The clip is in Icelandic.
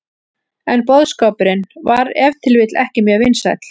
En boðskapurinn var ef til vill ekki mjög vinsæll.